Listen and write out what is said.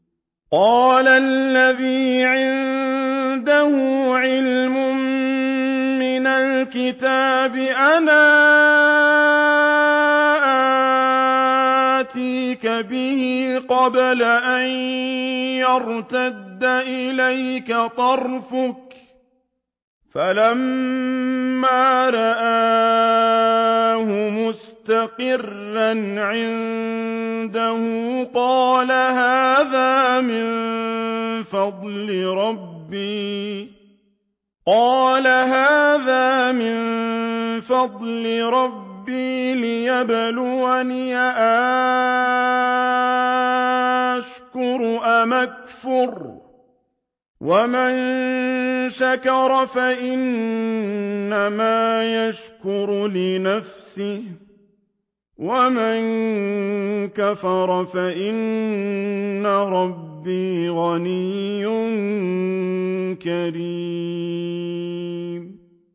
قَالَ الَّذِي عِندَهُ عِلْمٌ مِّنَ الْكِتَابِ أَنَا آتِيكَ بِهِ قَبْلَ أَن يَرْتَدَّ إِلَيْكَ طَرْفُكَ ۚ فَلَمَّا رَآهُ مُسْتَقِرًّا عِندَهُ قَالَ هَٰذَا مِن فَضْلِ رَبِّي لِيَبْلُوَنِي أَأَشْكُرُ أَمْ أَكْفُرُ ۖ وَمَن شَكَرَ فَإِنَّمَا يَشْكُرُ لِنَفْسِهِ ۖ وَمَن كَفَرَ فَإِنَّ رَبِّي غَنِيٌّ كَرِيمٌ